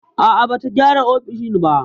A'a, bata gyara ofishin ba.